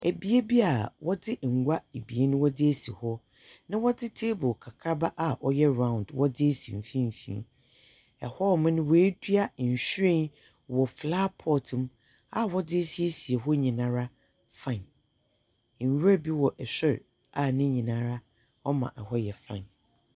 Bea bi a wɔdzengua mmienu wɔdze esi hɔ, na wɔdze table kakraba a ɔyɛ round wɔdze esi mfinimfini. Hɔnom no, woeduanhyiren wɔ flower pot mu a wɔdze esieise hɔ nyinara fine. Nwura bi wɔ sor a ne nyinara ɔma hɔ yɛ fine.